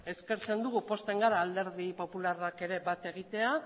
eskertzen dugu pozten gara alderdi popularrak ere bat egitea